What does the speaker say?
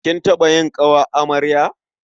Kin taɓa yin ƙawar amarya?